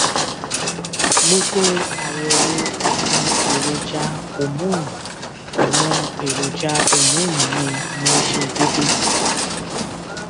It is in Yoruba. gbogbo àyẹwò àwọn èròjà homọnì àwọn èròjà homọnì mi ní ó ṣe déédé